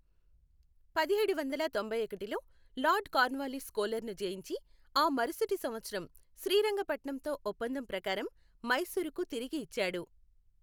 పదిహేడు వందల తొంభైఒకటిలో లార్డ్ కార్న్వాల్లిస్ కోలార్ ను జయించి, ఆ మరుసటి సంవత్సరం శ్రీరంగపట్నంతో ఒప్పందం ప్రకారం మైసూరుకు తిరిగి ఇచ్చాడు.